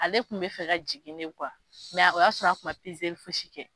Ale tun bɛ fɛ ka jigin de o y'a sɔrɔ a tun ma fosi kɛ